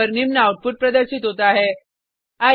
terminal पर निम्न output प्रदर्शित होता है